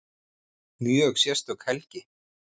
Mjög sérstök helgi